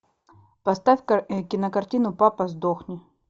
поставь кинокартину папа сдохни